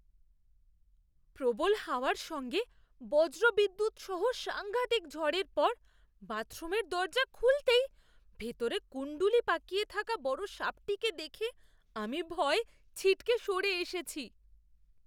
প্রবল হাওয়ার সঙ্গে বজ্রবিদ্যুৎ সহ সাঙ্ঘাতিক ঝড়ের পর বাথরুমের দরজা খুলতেই ভেতরে কুণ্ডলী পাকিয়ে থাকা বড় সাপটাকে দেখে আমি ভয় পেয়ে ছিটকে সরে এসেছি।